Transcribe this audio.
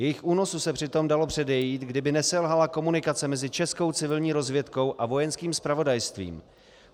Jejich únosu se přitom dalo předejít, kdyby neselhala komunikace mezi českou civilní rozvědkou a Vojenským zpravodajstvím.